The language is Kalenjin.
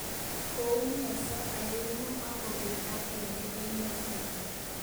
Koumionso aengu akobeek agenge eng yoto